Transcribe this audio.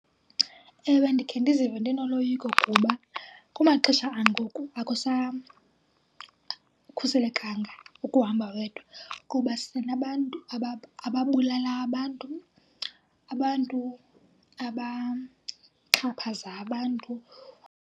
Ewe, ndikhe ndizive ndinoloyiko kuba kumaxesha angoku akusakhuselekanga ukuhamba wedwa kuba sinabantu ababulala abantu, abantu abaxhaphaza abantu.